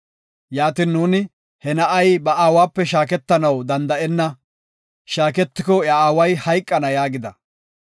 Yaatin nuuni, ‘He na7ay ba aawape shaaketanaw danda7enna; shaaketiko iya aaway hayqana’ yaagida.